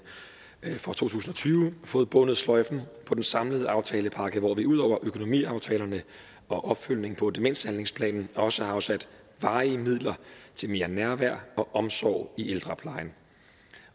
for to tusind og tyve fået bundet sløjfen på den samlede aftalepakke hvor vi ud over økonomiaftalerne og opfølgningen på demenshandlingsplanen også har afsat varige midler til mere nærvær og omsorg i ældreplejen